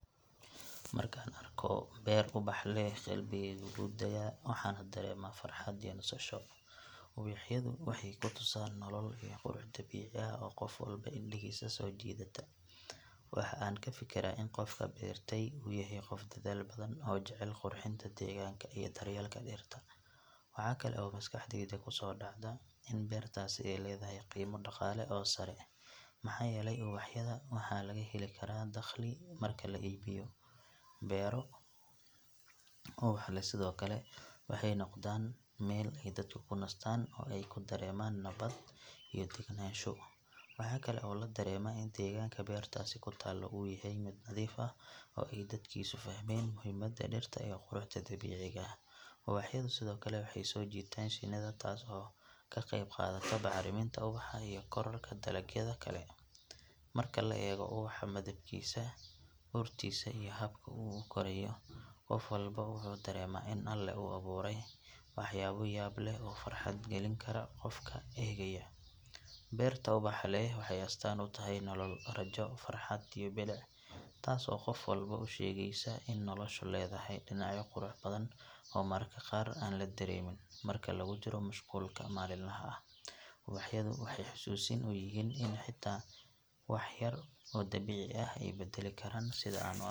Markaan arko beer ubax leh qalbigeygu wuu degaa waxaana dareemaa farxad iyo nasasho. Ubaxyadu waxay ku tusaan nolol iyo qurux dabiici ah oo qof walba indhihiisa soo jiidata. Waxa aan ka fikiraa in qofka beertay uu yahay qof dadaal badan oo jecel qurxinta deegaanka iyo daryeelka dhirta. Waxa kale oo maskaxdayda ku soo dhacda in beertaasi ay leedahay qiimo dhaqaale oo sare maxaa yeelay ubaxyada waxaa laga heli karaa dakhli marka la iibiyo. Beero ubax leh sidoo kale waxay noqdaan meel ay dadku ku nastaan oo ay ku dareemaan nabad iyo degenaansho. Waxaa kale oo la dareemaa in deegaanka beertaasi ku taallo uu yahay mid nadiif ah oo ay dadkiisu fahmeen muhiimada dhirta iyo quruxda dabiiciga ah. Ubaxyadu sidoo kale waxay soo jiitaan shinnida taas oo ka qayb qaadata bacriminta ubaxa iyo kororka dalagyada kale. Marka la eego ubaxa midabkiisa, urtiisa iyo habka uu u korayo qof walba wuxuu dareemaa in Alle uu abuuray waxyaabo yaab leh oo farxad gelin kara qofka eegaya. Beerta ubaxa leh waxay astaan u tahay nolol, rajo, farxad iyo bilic taas oo qof walba u sheegaysa in noloshu leedahay dhinacyo qurux badan oo mararka qaar aan la dareemin marka lagu jiro mashquulka maalinlaha ah. Ubaxyadu waxay xasuusin u yihiin in xitaa wax yar oo dabiici ah ay beddeli karaan sida aan u aragno.